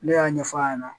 Ne y'a ɲɛfɔ a ɲɛna